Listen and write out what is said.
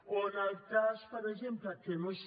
o en el cas per exemple que no hi és